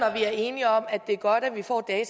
er enige om at det er godt at vi får